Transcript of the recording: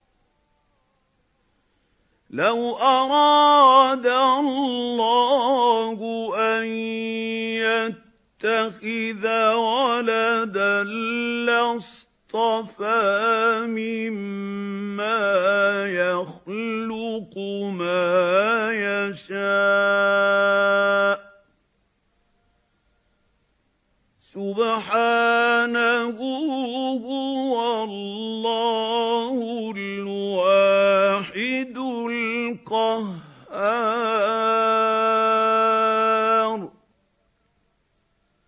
لَّوْ أَرَادَ اللَّهُ أَن يَتَّخِذَ وَلَدًا لَّاصْطَفَىٰ مِمَّا يَخْلُقُ مَا يَشَاءُ ۚ سُبْحَانَهُ ۖ هُوَ اللَّهُ الْوَاحِدُ الْقَهَّارُ